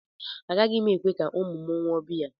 Agaghị m ekwe ka ụmụ m ṅụọ biya